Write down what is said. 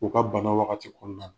O ka bana wagati kɔɔna la.